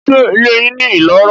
Ṣé ilé yín ní iloro?